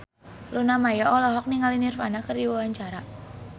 Luna Maya olohok ningali Nirvana keur diwawancara